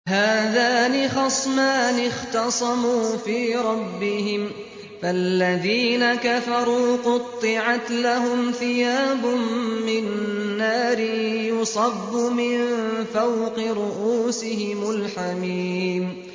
۞ هَٰذَانِ خَصْمَانِ اخْتَصَمُوا فِي رَبِّهِمْ ۖ فَالَّذِينَ كَفَرُوا قُطِّعَتْ لَهُمْ ثِيَابٌ مِّن نَّارٍ يُصَبُّ مِن فَوْقِ رُءُوسِهِمُ الْحَمِيمُ